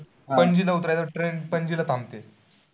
आह पणजी ला उतरायचं train पणजी ला थांबते.